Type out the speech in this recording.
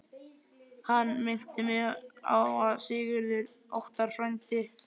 Hann minnti mig á að Sigurður Óttar, frændi